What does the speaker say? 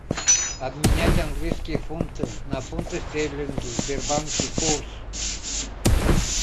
обменять английские фунты на фунты стерлинги в сбербанке курс